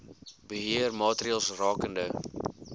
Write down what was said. beheer maatreëls rakende